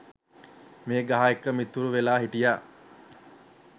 මේ ගහ එක්ක මිතුරු වෙලා හිටියා.